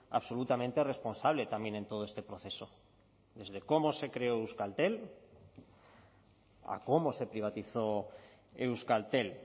absolutamente responsable también en todo este proceso desde cómo se creó euskaltel a cómo se privatizó euskaltel